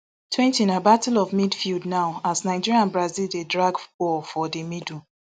twenty na battle of midfield now as nigeria and brazil dey drag ball for di middle